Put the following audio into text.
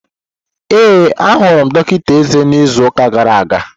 Ee, ahụrụ m dọkịta eze n'izu ụka gara aga.